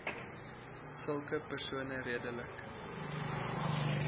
sulke persone redelik